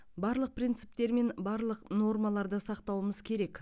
барлық принциптер мен барлық нормаларды сақтауымыз керек